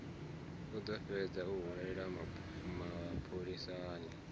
ḓo fhedza o hwelelwa mapholisani